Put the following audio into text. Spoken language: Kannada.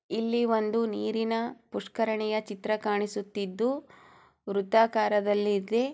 ಇಲ್ಲಿ ಒಂದು ನೀರಿನ ಉಷ್ಕರಣೆಯ ಚಿತ್ರ ಕಾಣಿಸುತ್ತಿದ್ದು ಹೃತ್ತಾಕಾರ ದಲ್ಲೆದೆ.